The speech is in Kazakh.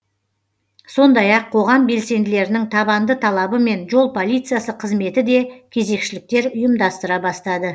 сондай ақ қоғам белсенділерінің табанды талабымен жол полициясы қызметі де кезекшіліктер ұйымдастыра бастады